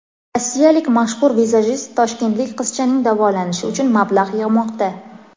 Rossiyalik mashhur vizajist toshkentlik qizchaning davolanishi uchun mablag‘ yig‘moqda.